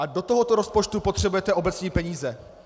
A do tohoto rozpočtu potřebujete obecní peníze.